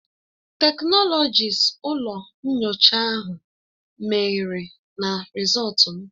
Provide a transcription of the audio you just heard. Teknọlọkist ụlọ nyocha ahụ mehiere na Rịzọltu m